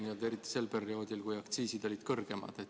Seda eriti sel perioodil, kui aktsiisid olid kõrgemad.